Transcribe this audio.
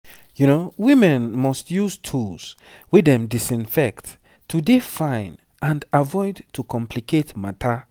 women must use tools wey dem disinfect to dey fine and avoid to complicate matter